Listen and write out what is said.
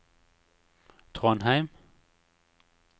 Trondheim